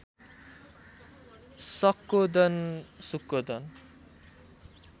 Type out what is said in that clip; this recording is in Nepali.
शक्कोदन शुक्कोदन